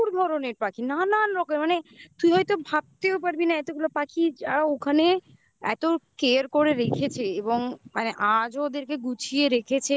প্রচুর ধরনের পাখি নানান রকমের মানে তুই হয়তো ভাবতেও পারবি না এতগুলো পাখি যা ওখানে এত care করে রেখেছে এবং মানে আজও ওদেরকে গুছিয়ে রেখেছে